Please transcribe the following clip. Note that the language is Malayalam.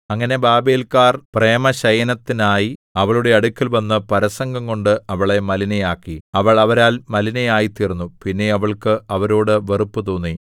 അങ്ങനെ ബാബേല്‍ക്കാർ പ്രേമശയനത്തിനായി അവളുടെ അടുക്കൽവന്ന് പരസംഗംകൊണ്ട് അവളെ മലിനയാക്കി അവൾ അവരാൽ മലിനയായിത്തീർന്നു പിന്നെ അവൾക്ക് അവരോട് വെറുപ്പുതോന്നി